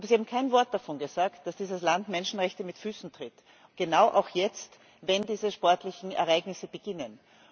Aber Sie haben kein Wort davon gesagt, dass dieses Land die Menschenrechte mit Füßen tritt, gerade auch jetzt, wenn diese sportlichen Ereignisse beginnen.